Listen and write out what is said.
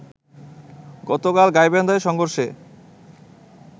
গতকাল গাইবান্ধায় সংঘর্ষে